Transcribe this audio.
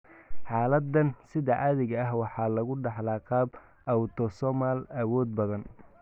Xaaladdan sida caadiga ah waxaa lagu dhaxlaa qaab autosomal awood badan.